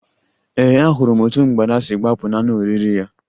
Ee, ahụrụ m otú mgbada si gbapụ n'anụ oriri ya